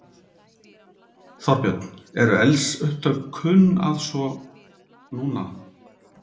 Þorbjörn: Eru eldsupptök kunn að svo. núna?